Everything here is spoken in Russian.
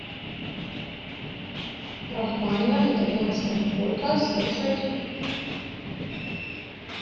рахманинов итальянская полька слушать